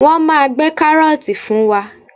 Wọ́n máa gbé kárọ́ọ̀tì fún wa.